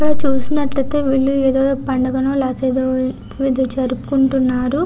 ఇక్కడ చూసినట్లైతే ఐతే వీళ్లు ఏదో పండుగనో లేకపోతే పూజ జరుపుకుంటున్నారు.